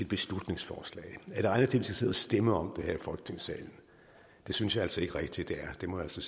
beslutningsforslag er det egnet til at sidde stemme om det her i folketingssalen det synes jeg altså ikke rigtig det er det må jeg så